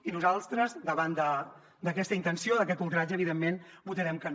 i nosaltres davant d’aquesta intenció d’aquest ultratge evidentment votarem que no